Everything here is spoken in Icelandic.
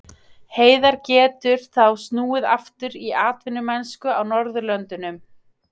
Heiðar getur þá snúið aftur í atvinnumennsku á Norðurlöndunum.